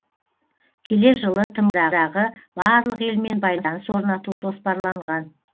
келер жылы тмд дағы барлық елмен байланыс орнату жоспарланған